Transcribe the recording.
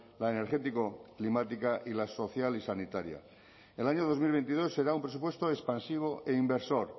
la energético climática y la social y sanitaria el año dos mil veintidós será un presupuesto expansivo e inversor